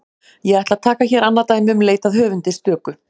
Ég ætla að taka hér annað dæmi um leit að höfundi stöku.